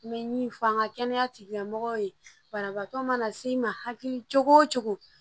N bɛ min fɔ an ka kɛnɛya tigilamɔgɔw ye banabaatɔ mana se n ma hakili cogo